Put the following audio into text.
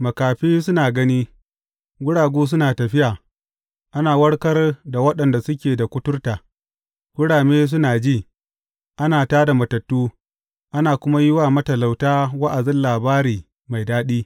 Makafi suna gani, guragu suna tafiya, ana warkar da waɗanda suke da kuturta, kurame suna ji, ana tā da matattu, ana kuma yi wa matalauta wa’azin labari mai daɗi.